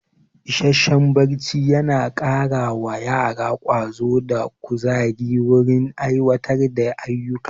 Isasshen barci yana kara wa yara ƙwazo da ƙuzayi wurin aiwatar da ayuka